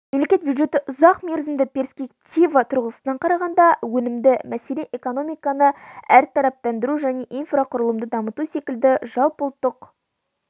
мемлекет бюджеті ұзақ мерзімді перспектива тұрғысынан қарағанда өнімді мәселен экономиканы әртараптандыру және инфрақұрылымды дамыту секілді жалпыұлттық